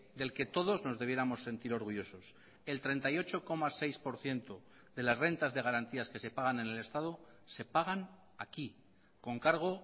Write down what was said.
del que todos nos debiéramos sentir orgullosos el treinta y ocho coma seis por ciento de las rentas de garantías que se pagan en el estado se pagan aquí con cargo